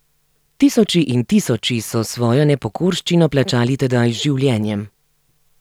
Tisoči in tisoči so svojo nepokorščino plačali tedaj z življenjem.